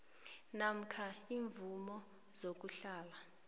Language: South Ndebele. namkha iimvumo zokuhlala